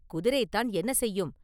குதிரைதான் என்ன செய்யும்?